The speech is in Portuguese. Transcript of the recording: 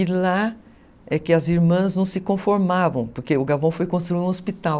E lá é que as irmãs não se conformavam, porque o Gavão foi construir um hospital.